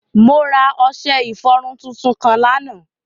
Mo ra ọṣẹ-ifọrun tuntun kan lánà.